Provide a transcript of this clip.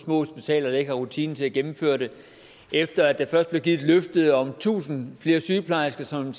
små hospitaler der ikke har rutine til at gennemføre dem efter at der først blev givet et løfte om tusind flere sygeplejersker som man